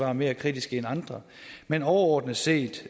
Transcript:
er mere kritiske end andre men overordnet set